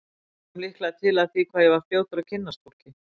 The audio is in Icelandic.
Það kom líklega til af því hvað ég var fljótur að kynnast fólki.